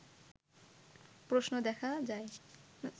প্রশ্নে দেখা যায়